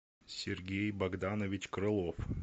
сергей богданович крылов